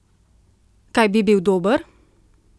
Kaj bi bil dober?